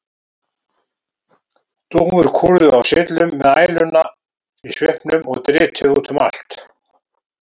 Dúfur kúrðu á syllum með æluna í svipnum og dritið út um allt.